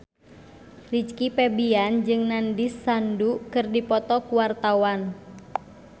Rizky Febian jeung Nandish Sandhu keur dipoto ku wartawan